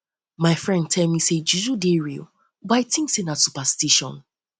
my friend tell me sey juju dey real but i tink sey na superstition